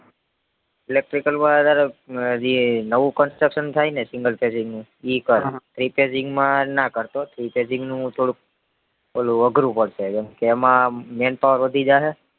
electrical wire હારે જે નવું contruction થાય ને નું એ કર repairing માં ના કર તો, repairing નું થોડુક ઓલું અઘરું પડશે કેમ કે એમાં man power વધી જાહે